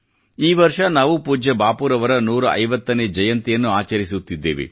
ಈ ವರ್ಷ ನಾವು ಪೂಜ್ಯ ಬಾಪೂ ರವರ 150 ನೇ ಜಯಂತಿಯನ್ನು ಆಚರಿಸುತ್ತಿದ್ದೇವೆ